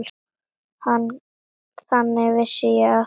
Þannig vissi ég af því.